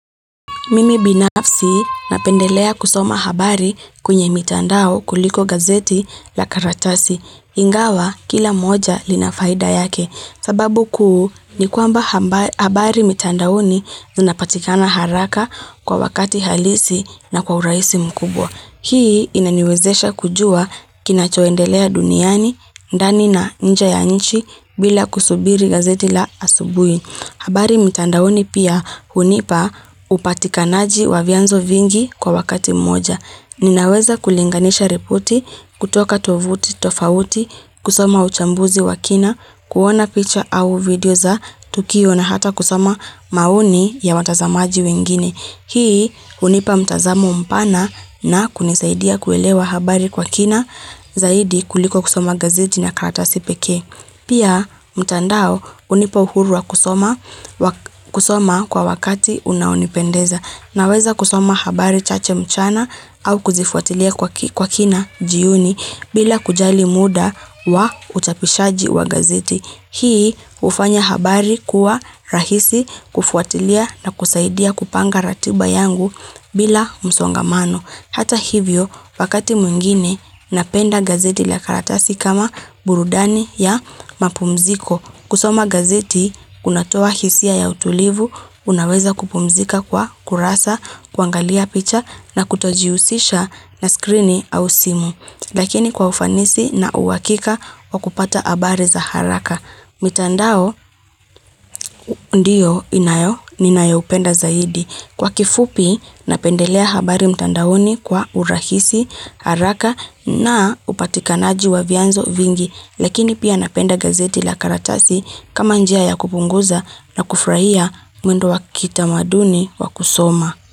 Mimi binafsi napendelea kusoma habari kwenye mitandao kuliko gazeti la karatasi. Ingawa kila moja lina faida yake sababu kuu ni kuamba habari mitandaoni zinapatikana haraka kwa wakati halisi na kwa uraisi mkubwa. Hii inaniwezesha kujua kinachoendelea duniani, ndani na nje ya nchi bila kusubiri gazeti la asubui. Habari mtandaoni pia hunipa upatikanaji wa vianzo vingi kwa wakati mmoja. Ninaweza kulinganisha ripoti, kutoka tovuti, tofauti, kusoma uchambuzi wa kina, kuona picture au video za tukio na hata kusama mauni ya watazamaji wengine. Hii hunipa mtazamo mpana na kunisaidia kuelewa habari kwa kina zaidi kuliko kusama gazidi na karata sipeke. Pia mtandao unipa uhuru wa kusoma kwa wakati unaonipendeza na weza kusoma habari chache mchana au kuzifuatilia kwa kina jiuni bila kujali muda wa utapishaji wa gazeti. Hii ufanya habari kuwa rahisi kufuatilia na kusaidia kupanga ratiba yangu bila msongamano. Hata hivyo pakati mwingine napenda gazeti la karatasi kama burudani ya mapumziko. Kusoma gazeti, kunatoa hisia ya utulivu, unaweza kupumzika kwa kurasa, kuangalia picha na kutojiusisha na skrini au simu. Lakini kwa ufanisi na uhakika wa kupata abari za haraka. Mitandao ndiyo inayo, ninayopenda zaidi. Kwa kifupi, napendelea habari mtandaoni kwa urahisi, haraka na upatikanaji wa vyanzo vingi. Lakini pia napenda gazeti la karatasi kama njia ya kupunguza na kufrahia mwendo wa kita maduni wa kusoma.